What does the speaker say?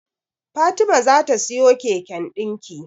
Fatima za ta siyo keken dinki.